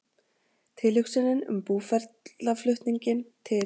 Tilhugsunin um búferlaflutninginn til